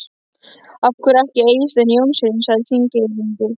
Af hverju ekki Eysteini Jónssyni, sagði Þingeyingur.